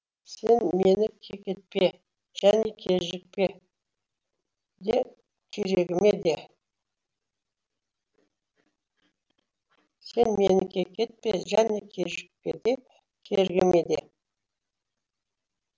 сен мені кекетпе және кежікпе де кергіме де